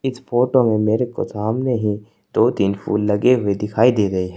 इस फोटो में मेरेको सामने ही दो तीन फूल लगे हुए दे रहे हैं।